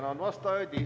Tänan vastajaid!